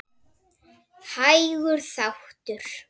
Hægur þáttur